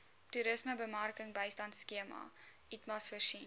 toerismebemarkingbystandskema itmas voorsien